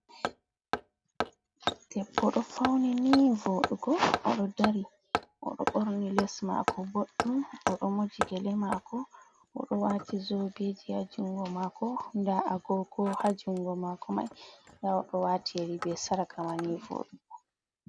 Debbo ɗo fauni ni voɗugo, o ɗo dari, o ɗo ɓorni les maako boɗɗum, o ɗo moji gele mako, o ɗo waati zobeji haa jungo mako, nda agogo haa jungo maako mai, nda o ɗo waati yeri be sarka ma ni voɗugo.